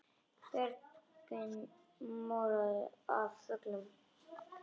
Björgin morandi af fuglum.